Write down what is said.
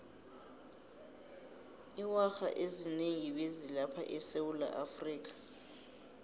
iwarha ezinengi bezi lapha esewulaafrika